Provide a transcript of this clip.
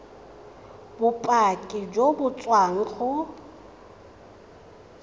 bopaki jo bo tswang go